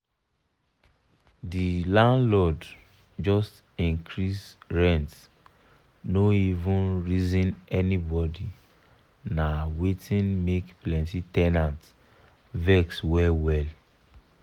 the landlord just increase rent no even reason anybody na wetin make plenty ten ants vex well well.